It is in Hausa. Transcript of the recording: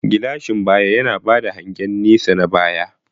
Gilashin baya yana ba da hangen nesa na baya.